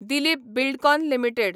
Dilip Buildcon limited